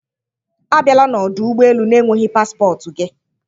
Abịala n'ọdụ ụgbọ elu na-enweghị paspọtụ gị!